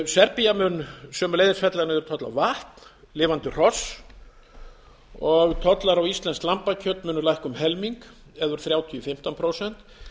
serbía mun sömuleiðis fella niður toll á vatn lifandi hross og tollar á íslenskt lambakjöt munu lækka um helming eða úr þrjátíu prósent í fimmtán prósent